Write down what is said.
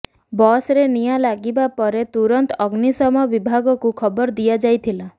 ବସରେ ନିଆଁ ଲାଗିବା ପରେ ତୁରନ୍ତ ଅଗ୍ନିଶମ ବିଭାଗକୁ ଖବର ଦିଆଯାଇଥିଲା